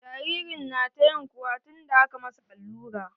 Jaririn na ta ƴin kuwa tun da aka masa allura.